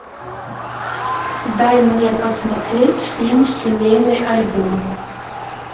дай мне посмотреть фильм семейный альбом